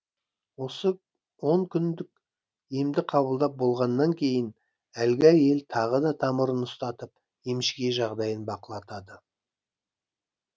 осы он күндік емді қабылдап болғаннан кейін әлгі әйел тағы да тамырын ұстатып емшіге жағдайын бақылатады